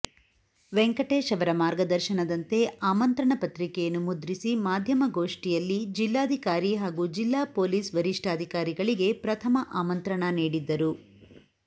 ವೆಂಕಟೇಶ್ ಅವರ ಮಾರ್ಗದರ್ಶನದಂತೆ ಆಮಂತ್ರಣ ಪತ್ರಿಕೆಯನ್ನು ಮುದ್ರಿಸಿ ಮಾಧ್ಯಮಗೋಷ್ಠಿಯಲ್ಲಿ ಜಿಲ್ಲಾಧಿಕಾರಿ ಹಾಗೂ ಜಿಲ್ಲಾ ಪೊಲೀಸ್ ವರಿಷ್ಠಾಧಿಕಾರಿಗಳಿಗೆ ಪ್ರಥಮ ಆಮಂತ್ರಣ ನೀಡಿದ್ದರು